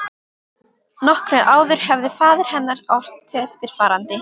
Nokkru áður hafði faðir hennar ort eftirfarandi